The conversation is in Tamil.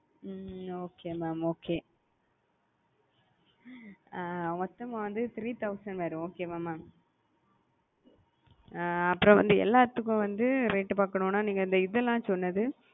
ஹம் okay mamokay அ மொத்தம்மா வந்து three thousand வரும் okay வா mam அப்புறம் வந்து எல்லாத்துக்கும் வந்து rate பாக்கனுனா நீங்க இந்த இதெல்லாம் சொன்னது,